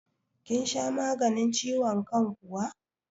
Kin sha maganin ciwon kan kuwa?